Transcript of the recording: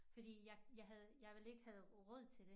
Fordi jeg jeg havde jeg ville ikke havde råd til det